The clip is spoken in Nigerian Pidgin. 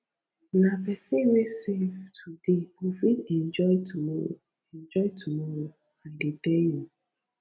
nah pesin wey save today go fit enjoy tomorrow enjoy tomorrow i dey tell you